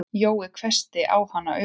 Jói hvessti á hana augun.